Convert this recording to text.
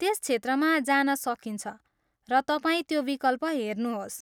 त्यस क्षेत्रमा जान सकिन्छ, र तपाईँ त्यो विकल्प हेर्नुहोस्।